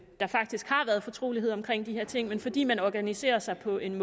der faktisk har været fortrolighed omkring de her ting men fordi man organiserer sig på en